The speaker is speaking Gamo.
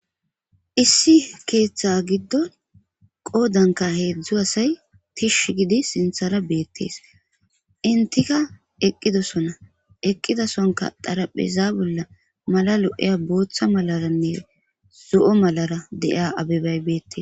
issi keeththe giddon qoodanka heedzdzu asay tish gidi sinthara beettees intika eqqidosona eqqidosonka darapheza bolla mala lo7eya booththa malaranne zo7o malara deiya abebay beettes